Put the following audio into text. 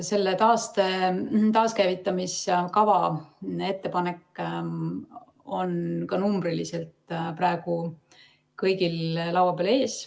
See taaskäivitamise kava ettepanek on ka numbriliselt praegu kõigil laua peal.